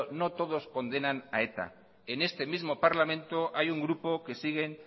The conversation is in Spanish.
no todos condenan a eta en este mismo parlamento hay un grupo que siguen